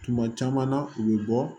Tuma caman na u bɛ bɔ